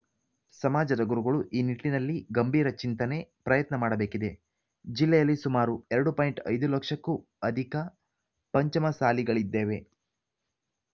ಸಮಾಜದ ಗುರುಗಳು ಈ ನಿಟ್ಟಿನಲ್ಲಿ ಗಂಭೀರ ಚಿಂತನೆ ಪ್ರಯತ್ನ ಮಾಡಬೇಕಿದೆ ಜಿಲ್ಲೆಯಲ್ಲಿ ಸುಮಾರು ಎರಡು ಪಾಯಿಂಟ್ ಐದು ಲಕ್ಷಕ್ಕೂ ಅಧಿಕ ಪಂಚಮಸಾಲಿಗಳಿದ್ದೇವೆ